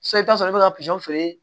Sisan i bɛ t'a sɔrɔ i bɛ ka feere